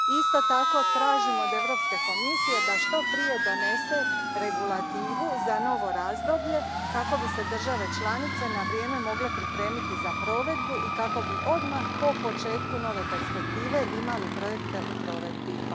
Isto tako, tražim od Europske komisije da što prije donese regulativu za novo razdoblje, kako bi se države članice na vrijeme mogle pripremiti za provedbu i kako bi odmah po početku nove perspektive imali projekte u provedbi.